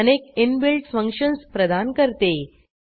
Perl अनेक inbuilt functions प्रदान करते